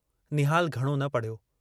निहालु घणो न पढ़ियो।